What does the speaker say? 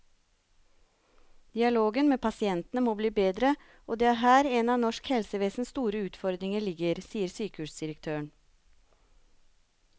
Dialogen med pasientene må bli bedre, og det er her en av norsk helsevesens store utfordringer ligger, sier sykehusdirektøren.